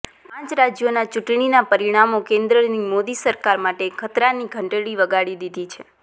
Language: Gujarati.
પાંચ રાજ્યોના ચૂંટણીના પરિણામો કેન્દ્રની મોદી સરકાર માટે ખતરાની ઘંટડી વગાડી દીધી છે